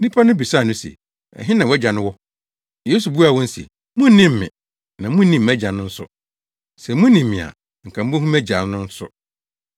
Nnipa no bisaa no se, “Ɛhe na wʼAgya no wɔ?” Yesu buaa wɔn se, “Munnim me na munnim mʼAgya no nso. Sɛ munim me a, anka mubehu mʼAgya no nso.”